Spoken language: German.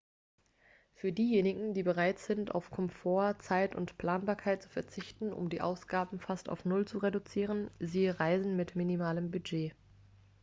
für diejenigen die bereit sind auf komfort zeit und planbarkeit zu verzichten um die ausgaben fast auf null zu reduzieren siehe reisen mit minimalem budget